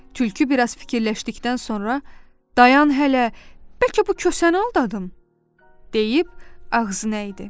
Tülkü biraz fikirləşdikdən sonra: "Daya hələ, bəlkə bu kosanı aldadım?" deyib ağzını əydi.